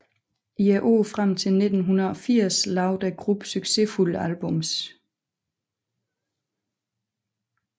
I årene frem til 1980 lavede gruppen succesfulde albums